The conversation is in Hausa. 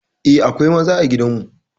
Eh, akwai maza a gidan mu.